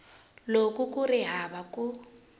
loko ku ri hava ku